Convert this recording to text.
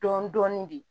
Dɔɔnin dɔɔnin de